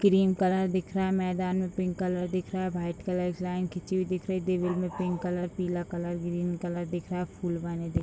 cream colour दिख रहा है मैदान में पिंक कलर दिख रहा है भाइट कलर से लाइन खिची हुई दिख रही है दीवार में पिंक कलर पीला कलर ग्रीन कलर दिख रहा है फूल बने दिख --